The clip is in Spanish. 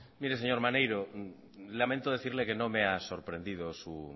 mire señor maneiro lamento decirle que no me ha sorprendido su